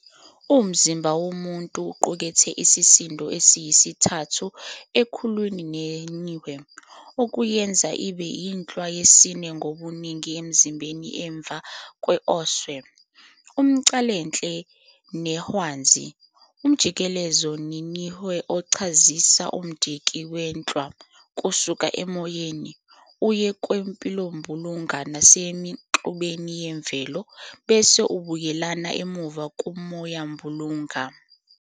Umuzimba womuntu uqukethe isisindo esiyisithathu ekhulwini seNihwe, okuyenza ibe inhlwa yesine ngobuningi emzimbeni emva kwesOhwe, umCalahle neHwanzi. Umjikelezo weNihwe uchazisa umdiki wenhlwa kusuka emoyeni, uye kumpilombulunga nasemixubeni yemvelo, bese ubuyela emuva kumoyambulunga.